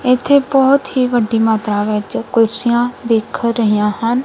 ਇੱਥੇ ਬਹੁਤ ਹੀ ਵੱਡੀ ਮਾਤਰਾ ਵਿੱਚ ਕੁਰਸੀਆਂ ਦਿੱਖ ਰਹੀਆਂ ਹਨ।